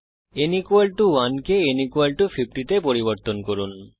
n 1 কে n 50 তে পরিবর্তন করুন